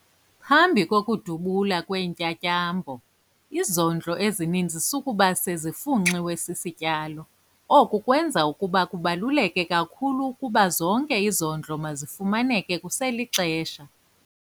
Phambi kokudubula kweentyatyambo, izondlo ezininzi sukuba sezifunxiwe sisityalo. Oku kwenza ukuba kubaluleke kakhulu ukuba zonke izondlo mazifumaneke kuselixesha.